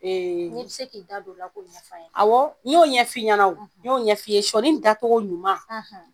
N'i bi se k'i da don la k'o ɲɛf'an ɲe, awɔ n ɲ'o ɲɛfi ɲɛna n ɲ'o ɲɛfi ye sɔni datɔgɔ ɲuman